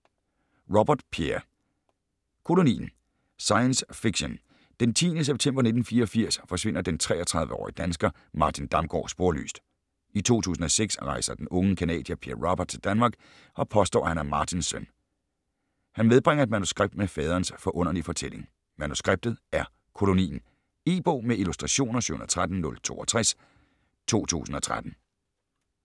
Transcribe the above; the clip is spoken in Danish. Robert, Pierre: Kolonien Science fiction. Den 10. september 1984 forsvinder den 33-årige dansker Martin Damgaard sporløst. I 2006 rejser den unge canadier Pierre Robert til Danmark og påstår at han er Martins søn. Han medbringer et manuskript med faderens forunderlige fortælling. Manuskriptet er Kolonien. E-bog med illustrationer 713062 2013.